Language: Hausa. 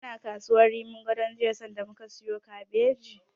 Kana kasuwar Rimin Gadon jiya sanda muka siyo kabeji?